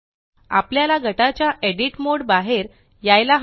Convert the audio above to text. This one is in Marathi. आपल्याला गटाच्या एडिट मोड बाहेर यायला हवे